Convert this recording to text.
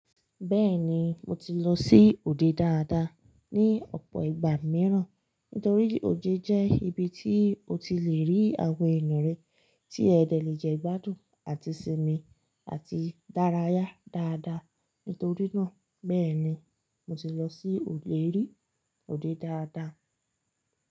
Bẹ́ẹ̀ni, mo ti lọ sí òde dáadáa ní ọ̀pọ̀ ìgbà mìíràn. Nítorí òde jẹ́ ibi tí o ti le rí àwọn eyanre tí ẹdẹ lè jẹ gbádùn àti sinmi àti dàráyà dáadáa. Nítorí náà, bẹ́ẹ̀ni mo ti lọ sí òde rí òde dáadáa.